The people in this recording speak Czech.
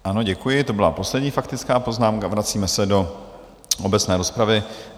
Ano, děkuji, to byla poslední faktická poznámka, vracíme se do obecné rozpravy.